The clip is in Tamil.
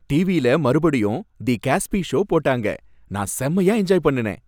டிவியில மறுபடியும் "தி காஸ்பி ஷோ" போட்டாங்க, நான் செம்மயா என்ஜாய் பண்ணுனேன்.